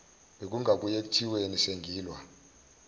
bekungabuye kuthiweni sengilwa